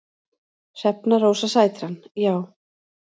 Hrefna Rósa Sætran: Já.